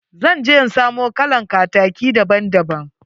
Zan je in samo kalan kataki daban daban.